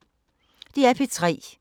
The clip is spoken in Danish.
DR P3